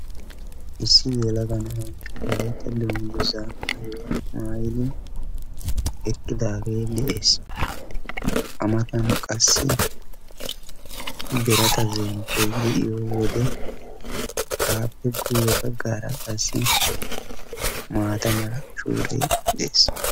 issi yelaga na"ay wolaytta dunguzza maayidi eqidage deessi amataniika qassi biratta zempoy de"eesi aapeka guyessara maatta mala shuure dessi.